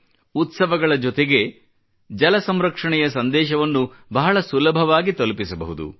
ಉತ್ಸವಗಳ ಜೊತೆಗೆ ಜಲ ಸಂರಕ್ಷಣೆಯ ಸಂದೇಶವನ್ನು ಬಹಳ ಸುಲಭವಾಗಿ ತಲುಪಿಸಬಹುದು